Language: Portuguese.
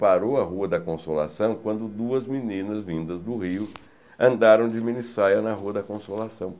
Parou a Rua da Consolação quando duas meninas vindas do Rio andaram de minissaia na Rua da Consolação.